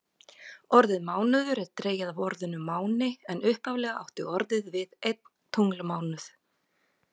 Orðið mánuður er dregið af orðinu máni en upphaflega átti orðið við einn tunglmánuð.